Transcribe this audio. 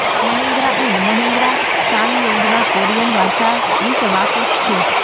Mahindra and Mahindra સાંગયોંગના Korean વારસા વિશે વાકેફ છે